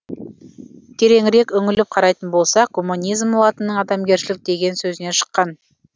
тереңірек үңіліп қарайтын болсақ гуманизм латынның адамгершілік деген сөзінен шыққан